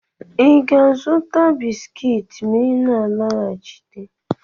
ị ga-azụta bisikiiti ma ị na alọghachite?